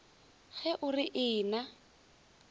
ge o re ee na